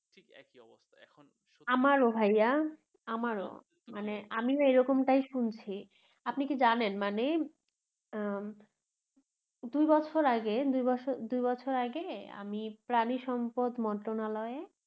আমারও ভাইয়া আমারও মানে আমিও এরকমটাই শুনেছি আপনি কি জানেন মানে উম দুই বছর আগে দুই বছর দুই বছর আগে আমি প্রাণী সম্পদ মন্ত্রণালয়ে